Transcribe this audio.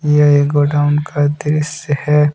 यह एक गोडाउन का दृश्य है।